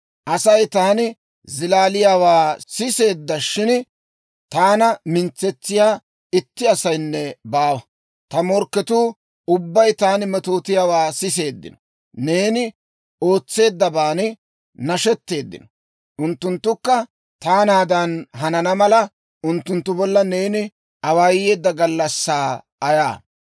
Asay taani zilaaliyaawaa siseedda; shin taana mintsetsiyaa itti asaynne baawa. Ta morkketuu ubbay taani metootiyaawaa siseeddino; neeni ootseeddabaan nashetteeddino. Unttunttukka taanaadan hanana mala, unttunttu bolla neeni awaayeedda gallassaa ayaa!